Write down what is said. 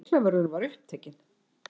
Lyklavörðurinn var upptekinn.